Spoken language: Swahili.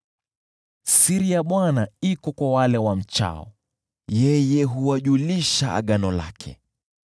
Siri ya Bwana iko kwa wale wamchao, yeye huwajulisha agano lake.